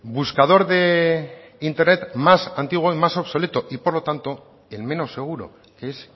buscador de internet más antiguo y más obsoleto y por lo tanto el menos seguro que es